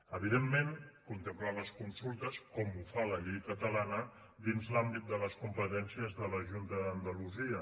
evidentment contempla les consultes com ho fa la llei catalana dins l’àmbit de les competències de la junta d’andalusia